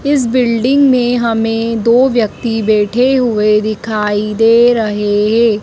इस बिल्डिंग में हमें दो व्यक्ति बैठे हुए दिखाई दे रहे हैं।